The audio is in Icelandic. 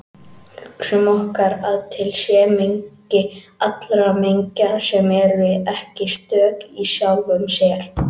Hugsum okkur að til sé mengi allra mengja sem eru ekki stök í sjálfum sér.